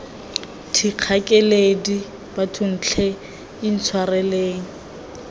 thikga keledi bathong tlhe intshwareleng